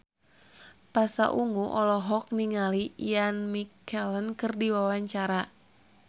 Pasha Ungu olohok ningali Ian McKellen keur diwawancara